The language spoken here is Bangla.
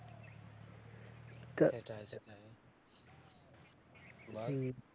সেটাই সেটাই বল,